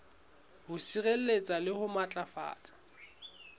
ho sireletsa le ho matlafatsa